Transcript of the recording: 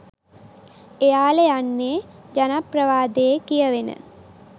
එයලා යන්නේ ජනප්‍රවාදයේ කියවෙන